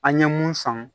An ye mun faamu